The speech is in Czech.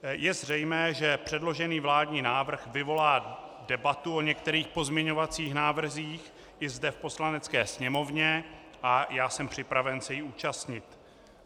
Je zřejmé, že předložený vládní návrh vyvolá debatu o některých pozměňovacích návrzích i zde v Poslanecké sněmovně, a já jsem připraven se jí účastnit.